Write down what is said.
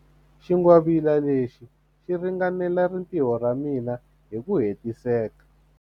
Xingwavila lexi xi ringanela rintiho ra mina hi ku hetiseka.